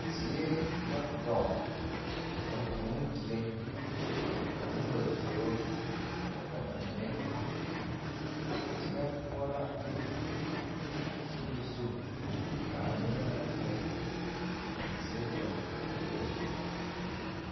Zie la dɔɔ ka vūū dire ka noba zoro ka ba mine are teŋɛ poɔ la a sori zu ka yɛlɛ ŋa erɛ ka zie dɔɔ ka noba zoro.